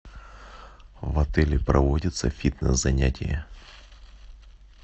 в отеле проводятся фитнес занятия